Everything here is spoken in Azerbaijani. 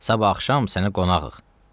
Sabah axşam sənə qonağıq.